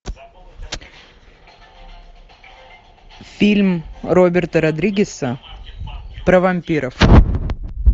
фильм роберта родригеса про вампиров